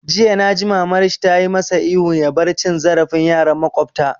Jiya naji mamar shi tayi masa ihun ya bar cin zarafin yaran makwabta!